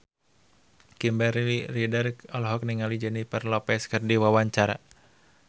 Kimberly Ryder olohok ningali Jennifer Lopez keur diwawancara